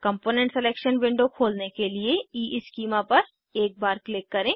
component selection window खोलने के लिए ईस्कीमा पर एक बार क्लिक करें